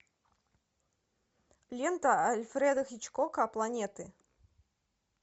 лента альфреда хичкока планеты